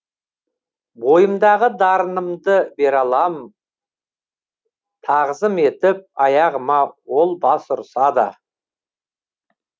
бойымдағы дарынымды бере алам тағзым етіп аяғыма ол бас ұрсада